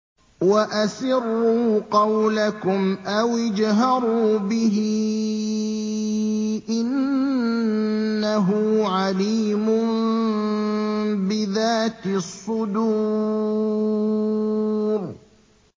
وَأَسِرُّوا قَوْلَكُمْ أَوِ اجْهَرُوا بِهِ ۖ إِنَّهُ عَلِيمٌ بِذَاتِ الصُّدُورِ